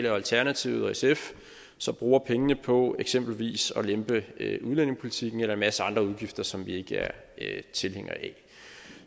alternativet og sf bruger pengene på eksempelvis at lempe udlændingepolitikken eller en masse andre udgifter som vi ikke er tilhængere af